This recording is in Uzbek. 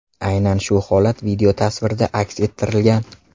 Aynan shu holat videotasvirda aks ettirilgan.